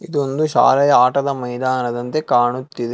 ಇದೊಂದು ಶಾಲೆಯ ಆಟದ ಮೈದಾನದಂತೆ ಕಾಣುತ್ತದೆ.